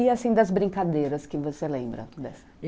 E assim, das brincadeiras que você lembra?